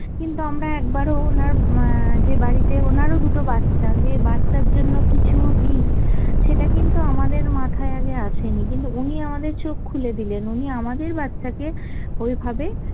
কিন্তু আমরা একবারও ওনার উম যে বাড়িতে ওনারও দুটো বাচ্চা যে বাচ্চার জন্য কিছু দি সেটা কিন্তু আমাদের মাথায় আগে আসেনি, কিন্তু উনি আমাদের চোখ খুলে দিলেন, উনি আমাদের বাচ্চাকে ওইভাবে